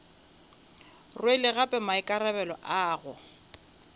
rwele gape maikarabelo a go